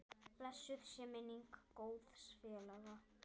Blessuð sé minning góðs félaga.